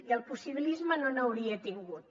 i el possibilisme no n’hauria tingut